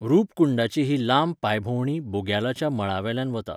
रूपकुंडाची ही लांब पांयभोंवडी बुग्यालाच्या मळावेल्यान वता .